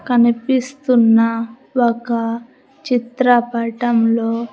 కనిపిస్తున్న ఒక చిత్ర పటంలో--